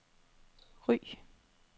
Ry